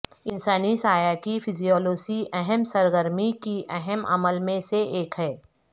انسانی سایہ کی فزیوولوژی اہم سرگرمی کی اہم عمل میں سے ایک ہے